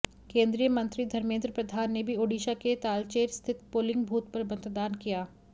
केंद्रीय मंत्री धर्मेंद्र प्रधान ने भी ओडिशा के तालचेर स्थित पोलिंग बूथ पर मतदान किया